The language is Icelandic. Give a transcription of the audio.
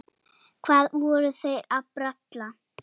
Hvað voru þeir að bralla?